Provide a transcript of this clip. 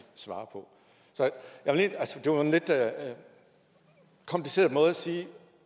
svare på altså det var en lidt kompliceret måde at sige